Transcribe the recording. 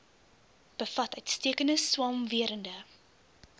bevat uitstekende swamwerende